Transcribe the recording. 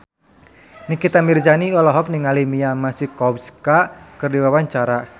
Nikita Mirzani olohok ningali Mia Masikowska keur diwawancara